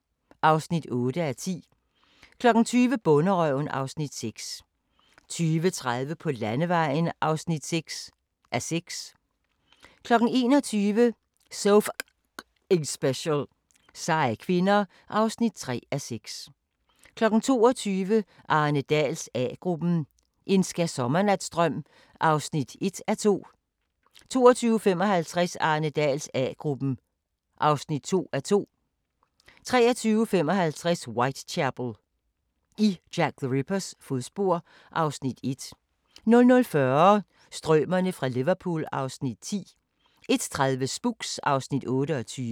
08:20: USA indefra: Affaldssortering 09:00: USA indefra: Den truede honningbi 09:40: Røde ildmyrer – en usynlig hær 10:30: Midt i naturen (5:9) 11:30: En reporter går i køkkenet – og til filmen (3:5)* 12:30: En reporter går i køkkenet – i Tokyo (4:5) 13:30: Uganda - naturens perle (Afs. 2) 14:30: Teknologi som forandrer (Afs. 3)* 15:00: Teknologi som forandrer (Afs. 4) 15:30: Felix og vagabonden (1:8)*